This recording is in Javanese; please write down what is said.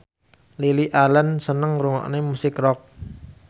Lily Allen seneng ngrungokne musik rock